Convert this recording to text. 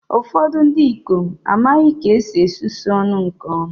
Ụfọdụ ndị ikom amaghị ka esi esusu ọnụ nke ọma